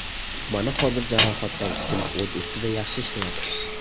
Mana hozir jarohatdan qutulib o‘z ustida yaxshi ishlayapti.